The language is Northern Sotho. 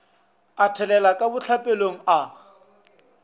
a thelela ka bohlapelong a